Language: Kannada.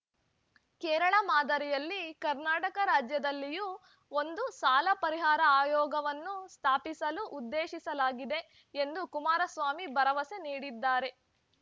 ಕೇರಳ ಮಾದರಿಯಲ್ಲಿ ಕರ್ನಾಟಕ ರಾಜ್ಯದಲ್ಲಿಯೂ ಒಂದು ಸಾಲ ಪರಿಹಾರ ಆಯೋಗವನ್ನು ಸ್ಥಾಪಿಸಲು ಉದ್ದೇಶಿಸಲಾಗಿದೆ ಎಂದು ಕುಮಾರಸ್ವಾಮಿ ಭರವಸೆ ನೀಡಿದ್ದಾರೆ